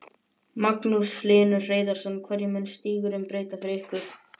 Magnús Hlynur Hreiðarsson: Hverju mun stígurinn breyta fyrir ykkur?